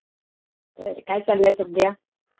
काय चाललयं सध्या